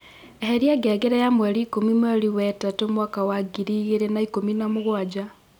eheria ngengere ya mweri īkūmi mweri we tatū mwaka wa ngiri igīri na īkūmi na mūgwaja